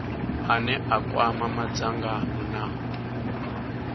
ane a kwama madzangano na